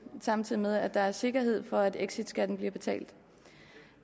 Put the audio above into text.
samtidig med at der er sikkerhed for at exitskatten bliver betalt